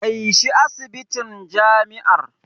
Kai shi asibitin jami'ar.